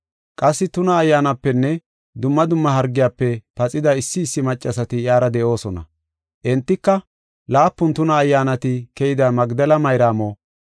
Qassi tuna ayyaanapenne dumma dumma hargiyafe paxida issi issi maccasati iyara de7oosona. Entika, laapun tuna ayyaanati keyida Magdela Mayraamo,